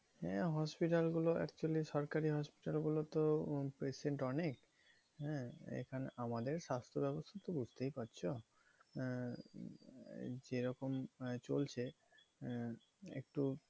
হ্যাঁ hospital গুলো actually সরকারি hospital গুলো তো patient অনেক। হ্যাঁ এখানে আমাদের স্বাস্থ ব্যবস্থা তো বুঝতেই পাচ্ছো। আহ যেরকম চলছে আহ একটু